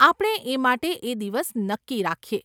આપણે એ માટે એ દિવસ નક્કી રાખીએ.